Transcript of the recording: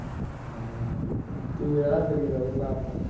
ਹਮ ਸ਼ਰੀਰ ਓਹਦਾ ਤਾਂ ਆਪ ਤਾਂ